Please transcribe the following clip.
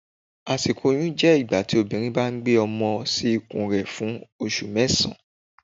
asikọ̀ oyún jẹ ígbatí obinrín ba gbe ọmọ sí ikun rẹ fún osù mẹsan.